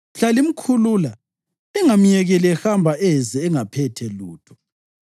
Mhla limkhulula lingamyekeli ehamba eze engaphethe lutho.